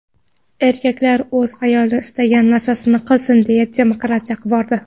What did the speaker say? Erkaklar o‘z ayoli istagan narsasini qilsin deya demokratiya qivordi.